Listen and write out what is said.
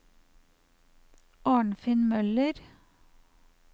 Arnfinn Møller